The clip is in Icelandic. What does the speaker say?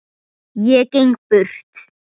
Ég geng burt.